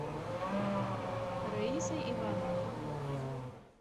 раисой ивановной